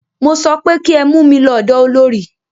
Mo sọ pé kí ẹ mú mí lọ ọ̀dọ olorì!